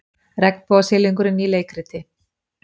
Regnbogasilungurinn í leikriti